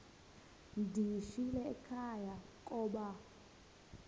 ndiyishiyile ekhaya koba